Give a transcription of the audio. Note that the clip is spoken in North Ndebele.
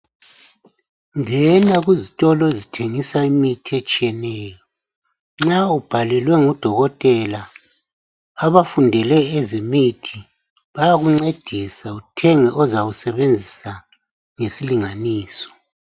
Ngena kuzitolo ezithengisa imithi etshiyeneyo. Nxa ubhalelwe ngudokotela, abafundele ezemithi, bayakuncedisa uthenge ozawusebenzisa ngesilinganiso.